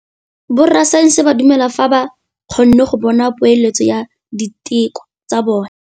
Borra saense ba dumela fela fa ba kgonne go bona poeletsô ya diteko tsa bone.